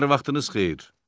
Hər vaxtınız xeyir.